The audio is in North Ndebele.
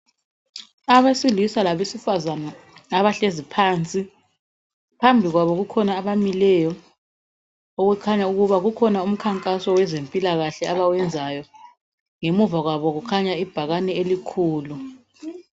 Abesilisa labesifazana abahlezi phansi phambi kwabo kukhona abamileyo okukhanya ukuba kukhona umkhankaso wezempilakahle abawenzayo ngemuva kwabo kukhanya ibhakane elikhulu.